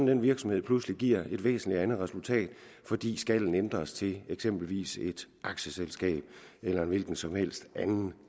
den virksomhed pludselig giver et væsentlig andet resultat fordi skallen ændres til eksempelvis et aktieselskab eller en hvilken som helst anden